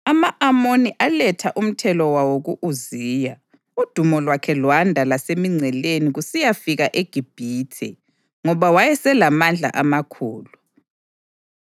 Ama-Amoni aletha umthelo wawo ku-Uziya, udumo lwakhe lwanda lasemingceleni kusiyafika eGibhithe, ngoba wayeselamandla amakhulu.